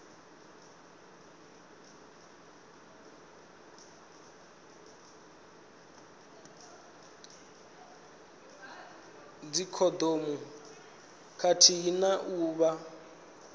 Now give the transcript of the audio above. dzikhondomu khathihi na u vha